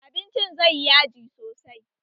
Abinci zai yi yaji sosai